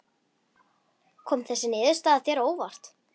Kom þessi niðurstaða þér á óvart?